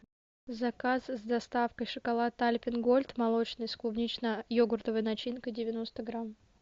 заказ с доставкой шоколад альпен гольд молочный с клубнично йогуртовой начинкой девяносто грамм